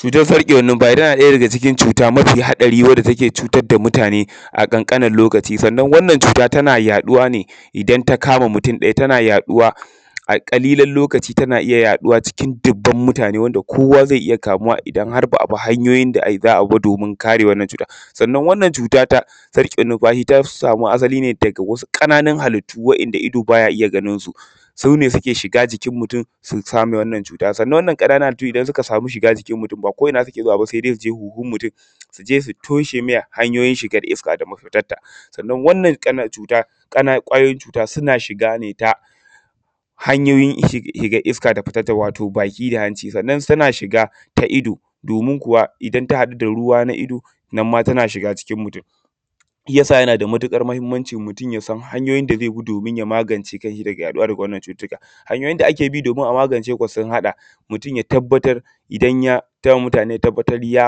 Cutar sarƙewan numfashi tana ɗaya daga cikin cuta mafi haɗari wadda take cutar da mutane a ƙanƙanin lokaci, sannan wannan cuta tana yaɗuwa ne idan ta kama mutum ɗaya tana yaɗuwa a ƙalilan lokaci. Tana iya yaɗuwa cikin dubban mutane wanda kowa ze iya kamuwa idan har ba a bi hanyoyin da za a vi ba domin kare wannan cutar, sannan wannan cuta ta sarƙe numfashi ta samu asali ne daga wasu ƙananun hallitu wa’inda ido baya iya ganinsu su ne suke shiga jikin mutum su same wannan cuta. Sannan wannan ƙananun halittu idan suka samu shiga jikin mutum ba ko ina suke zuwa ba se dai su je huhun mutum su je su toshe me hanyoyin shigar iska da mafitarta; sannan wannnan ƙan cuta ƙwayoyin cuta suna shiga ne ta hanyoyin shigar iska da fitarta wato baki da hanci. Sannan suna shiga ta ido domin kuwa idan ta haɗu da ruwa da ido nan ma tana shiga jikn mutum shi yadsa yana da matuƙar mahinmanci mutum ya samu hanyoyin da ze bi domin ya magance kan shi daga yaɗuwa da waɗannan cututtuka. Hanyoyin da ake bi domin a magance, sun haɗa mutum ya tabbatar ya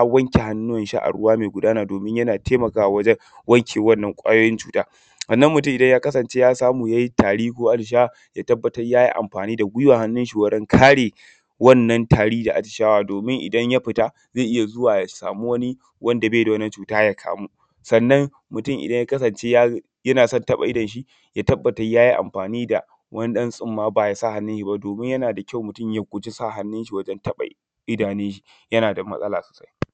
wanke hannuwan shi a ruwa me gudana domin yana taimakawa wajen wanke wannan ƙwayoyin cuta, sannan mutum idan ya kasance ya samu ya yi tari ko atishawa ya tabbatar ya yi amfani da gwiwan hannun shi wurin kare wanna tari da atishawa. Domin a idan ya fita ze iya zuwa ya samu wani wanda be da waanan cuta ya kamu, sannan mutum idan ya kasance yana son taɓa idon shi ya tabbatar ya yi amfani da wani ba ya sa hannun shi ba, domin yana da kyau mutum ya guji sa hannun shi wajen taɓa idanun shi, yana da matsala sosai.